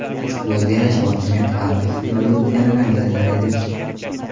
Ushbu o‘zgarish hokimiyat xalq ixtiyoriga o‘tganini anglatar edi.